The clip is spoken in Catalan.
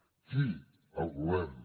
qui el govern